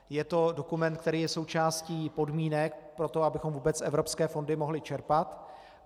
Je to dokument, který je součástí podmínek pro to, abychom vůbec evropské fondy mohli čerpat.